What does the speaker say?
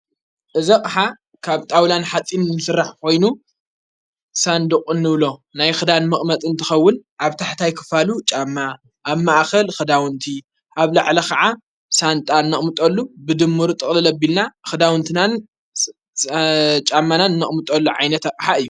እዘቕሓ ካብ ጣውላን ኃጺን ንምስራሕ ኮይኑ ሳንድቕ ንብሎ ናይ ኽዳን መቕመጥን ትኸውን ኣብ ታሕታይ ክፋሉ ጫማ ኣብ ማኣኸል ኽዳዉንቲ ኣብ ላዕለ ኸዓ ሳንጣ ኖቕሙጠሉ ብድምር ጥቕልለ ቢልና ኽዳዉንትናን ጫማናን እኖቕሙጠሉ ዓይነትሓ እዩ።